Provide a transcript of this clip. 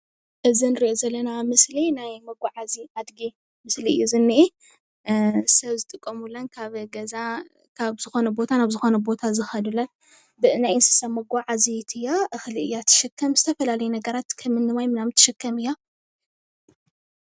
እዚ ንሪኦ ዘለና ምስሊ ናይ መጓዓዚ ኣድጊ ምስሊ እዩ ዝኒኤ ሰብ ዝጥቀሙለን ካብ ገዛ ካብ ዝኾነ ቦታ ናብ ዝኾነ ቦታ ዝኸዱለን ብናይ እንስሳት መጓዓዚት እያ፡፡ እኽሊ እያ ትሽከም ዝተፈላለዩ ነገራት ከምኒ ማይ ምናምን ትሽከም እያ፡፡